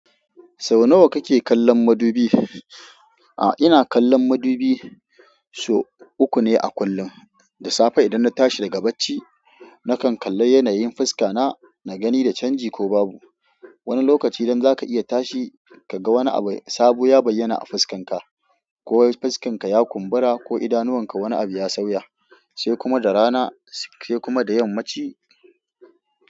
Sau nawa kake kallon madubi? A'a, ina kallon madubi so uku ne a kullum. Da safe idan na tashi daga bacci, nakan kalla yanayin fuska na, na gani da canji ko babu. Wani lokaci idan zaka iya tashi ka ga wani abu sabo ya bayyana a fuskanka, ko fuskanka ya kumbura ko idanuwanka wani abu ya sauya, sai kuma da rana sai kuma da yammaci.